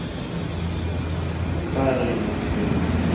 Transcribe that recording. старые мультфильмы